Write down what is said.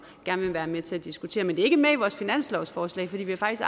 gerne vil være med til at diskutere er ikke med i vores finanslovsforslag fordi vi faktisk